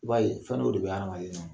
I b'a ye fɛn dɔw de be adamaden na.